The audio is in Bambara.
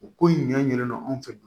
U ko in ɲɛ ɲinɛ anw fɛ